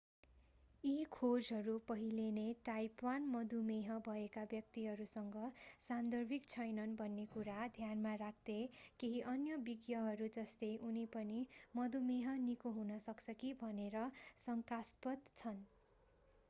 यी खोजहरू पहिले नै टाइप 1 मधुमेह भएका व्यक्तिहरूसँग सान्दर्भिक छैनन् भन्ने कुरा ध्यानमा राख्दै केही अन्य विज्ञहरू जस्तै उनी पनि मधुमेह निको हुन सक्छ कि भनेर शंकास्पद छन्